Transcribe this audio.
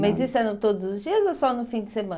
Mas isso eram todos os dias ou só no fim de semana?